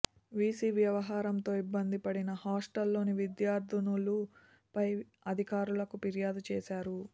VC వ్యవహారంతో ఇబ్బందిపడిన hostel లోని విద్యార్థినులు పై అధికారులకు ఫిర్యాదు చేశారు